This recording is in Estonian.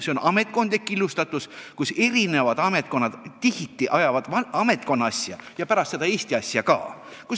See on ametkondlik killustatus: eri ametkonnad ajavad tihti ametkonna asja ja alles pärast seda Eesti asja ka.